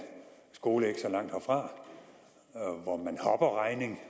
skole ikke så langt herfra hvor man hopper regning